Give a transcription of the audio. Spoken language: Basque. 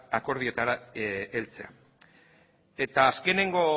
akordioetara heltzea azkeneko